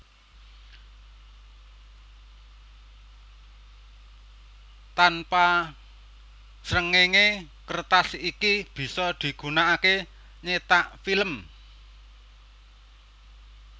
Tanpa srengenge kertas iki bisa digunakake nyetak film